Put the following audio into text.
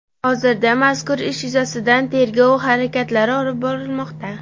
Hozirda mazkur ish yuzasidan tergov harakatlari olib borilmoqda.